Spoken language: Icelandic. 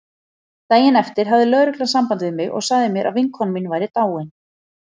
Daginn eftir hafði lögreglan samband við mig og sagði mér að vinkona mín væri dáin.